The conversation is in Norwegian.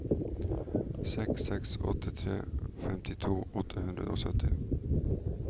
seks seks åtte tre femtito åtte hundre og sytti